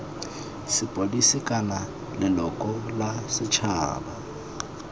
sepodisi kana leloko la setšhaba